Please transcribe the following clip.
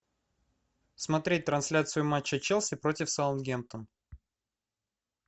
смотреть трансляцию матча челси против саутгемптон